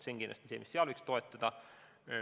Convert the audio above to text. Seda võiks kindlasti toetada.